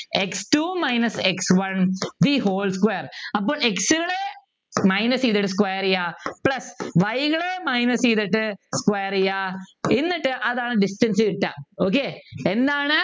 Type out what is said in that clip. x two minus x one the whole square അപ്പൊ x കള് minus ചെയ്തിട്ട് square ചെയ്യാ plus y കള് minus ചെയ്തിട്ട് square ചെയ്യാ എന്നിട്ടു അതാണ് distance കിട്ടുക okay എന്താണ്